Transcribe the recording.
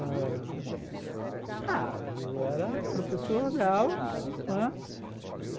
Ãh... ah, eu era professor da aula, não é?